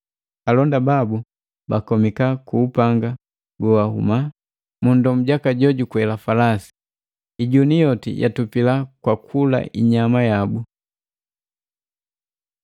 Alonda babu bakomika ku upanga gowahuma mu nndomu jaka jo kwela falasi. Ijuni yoti yatupila kwa kula inyama yabu.